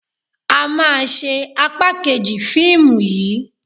A máa ṣe apá kejì fíìmù yìí.